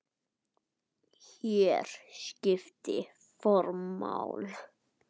Hér skiptir form máli.